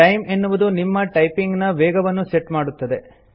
time - ಎನ್ನುವುದು ನಿಮ್ಮ typing ನ ವೇಗವನ್ನು ಸೆಟ್ ಮಾಡುತ್ತದೆ